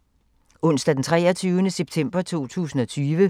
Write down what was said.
Onsdag d. 23. september 2020